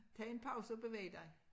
Tag en pause og bevæg dig